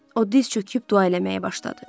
O diz çöküb dua eləməyə başladı.